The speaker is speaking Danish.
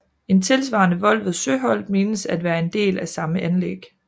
En tilsvarende vold ved Søholt menes at være en del af samme anlæg